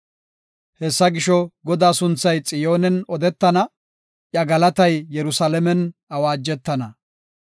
Hessa gisho, Godaa sunthay Xiyoonen odetana; iya galatay Yerusalaamen awaajettana.